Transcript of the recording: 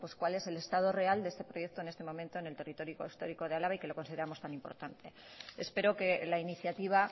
cuál es el estado real de este proyecto en este momento en territorio histórico de álava y que lo consideramos tan importante espero que la iniciativa